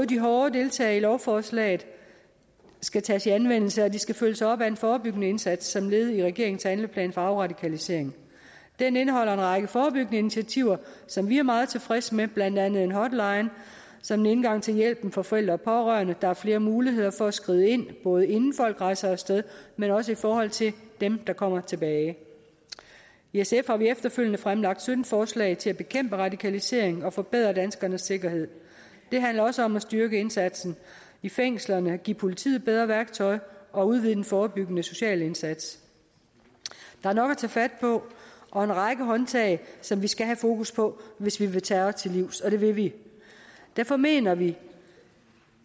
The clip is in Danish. de hårde tiltag i lovforslaget skal tages i anvendelse og de skal følges op af en forebyggende indsats som led i regeringens handleplan for afradikalisering den indeholder en række forebyggende initiativer som vi er meget tilfredse med blandt andet en hotline som en indgang til hjælp for forældre og pårørende der er flere muligheder for at skride ind både inden folk rejser af sted men også i forhold til dem der kommer tilbage i sf har vi efterfølgende fremlagt sytten forslag til at bekæmpe radikalisering og forbedre danskernes sikkerhed det handler også om at styrke indsatsen i fængslerne give politiet bedre værktøj og udvide den forebyggende sociale indsats der er nok at tage fat på og en række håndtag som vi skal have fokus på hvis vi vil terror til livs og det vil vi derfor mener vi